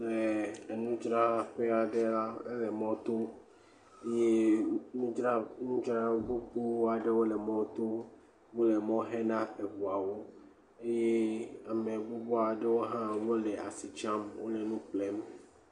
Enudzrala ƒe aɖe la, ele mɔto eye nudzra gbogbo aɖewo le mɔto, wole mɔ xe na eŋuwo eye ame gbogbo aɖe hã wole asikpa wole nu ƒlem.